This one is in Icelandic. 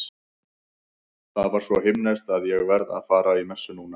Það var svo himneskt að ég verð að fara í messu núna.